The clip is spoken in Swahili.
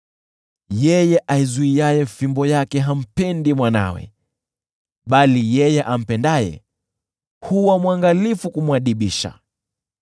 Yeye aizuiaye fimbo yake hampendi mwanawe, bali yeye ampendaye huwa mwangalifu kumwadibisha.